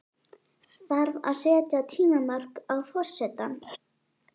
Þarf að setja tímamörk á forsetann?